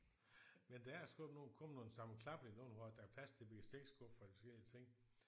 Men der er sgu ikke nogle kommet nogle sammenklappelige nogle hvor at der er plads til bestikskuffer og de forskellige ting